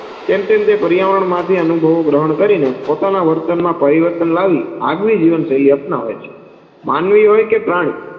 તેમ તેમ તે પર્યાવરણ માંથી અનુભવો ગ્રહણ કરીને પોતાના વર્તનમાં પરિવર્તન લાવી આગવી જીવન શૈલી અપનાવે છે. માનવી હોય કે પ્રાણી,